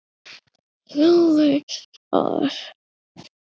Þú veist það!